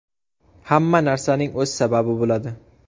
Hamma narsaning o‘z sababi bo‘ladi.